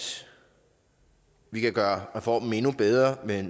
vi kan gøre reformen endnu bedre ved